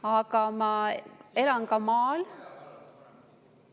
Aga ma elan ka maal.